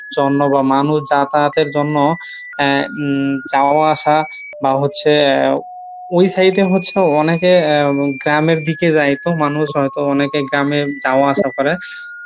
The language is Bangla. মানুষ যাতায়াতের জন্য আহ যাওয়া আসা বা হচ্ছে ওই side এ হচ্ছে অনেকে গ্রামের দিকে যাইতো মানুষ হয়তো অনেকে গ্রামে যাওয়া আসা করে